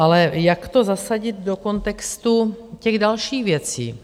Ale jak to zasadit do kontextu těch dalších věcí?